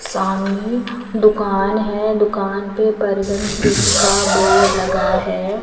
सामने दुकान है। दुकान पे बर्गन किंग का बोर्ड लगा है।